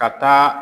Ka taa